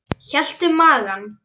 Hélt um magann.